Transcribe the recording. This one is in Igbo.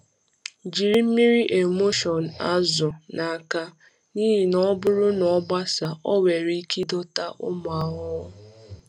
Jiri mmiri emulsion azụ n’aka, n’ihi na ọ bụrụ na ọ gbasaa, ọ nwere ike ịdọta ụmụ ahụhụ.